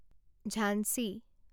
Jhansi